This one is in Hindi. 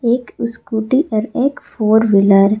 एक इस्कूटी और एक फोर व्हीलर --